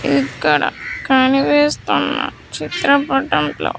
ఇక్కడ కనిపిస్తున్న చిత్రపటంలో.